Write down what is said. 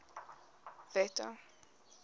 wette